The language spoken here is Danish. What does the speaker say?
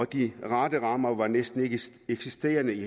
de rette rammer var næsten ikkeeksisterende i